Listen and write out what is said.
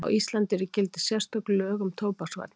Á Íslandi eru í gildi sérstök lög um tóbaksvarnir.